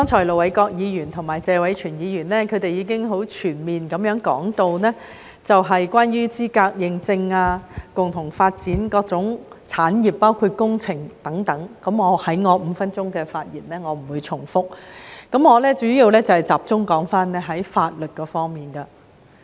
盧偉國議員和謝偉銓議員剛才已全面地講述資格認證、共同發展各種產業等方面，我不會在我的5分鐘發言中重複，我主要集中談論法律方面。